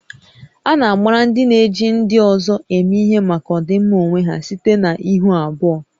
A na-agbara ndị na-eji ndị ọzọ eme ihe maka ọdịmma onwe ha site na ihu abụọ